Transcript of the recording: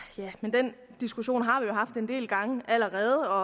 den diskussion har vi jo haft en del gange allerede og